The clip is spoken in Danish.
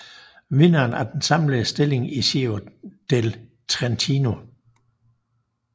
Vinderen af den samlede stilling i Giro del Trentino